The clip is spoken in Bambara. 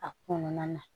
A kɔnɔna na